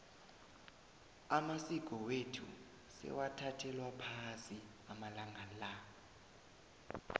amasiko wethu sewathathelwa phasi amalanga la